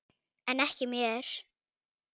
En ekki mér.